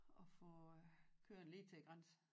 Og få kørt lige til æ græns